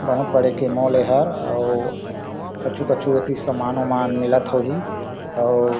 बहुत बड़े के मॉल एहर अऊ कछु-कछु एती समान उमान मिलत होही अऊ--